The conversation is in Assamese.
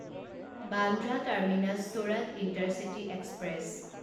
বান্দ্ৰা টাৰ্মিনাছ চোৰাত ইণ্টাৰচিটি এক্সপ্ৰেছ